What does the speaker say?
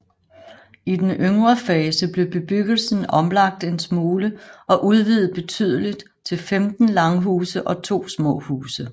I den yngre fase blev bebyggelsen omlagt en smule og udvidet betydeligt til 15 langhuse og to små huse